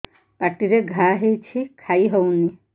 ପାଟିରେ ଘା ହେଇଛି ଖାଇ ହଉନି